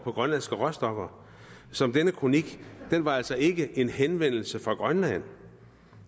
for grønlandske råstoffer så denne kronik var altså ikke en henvendelse fra grønland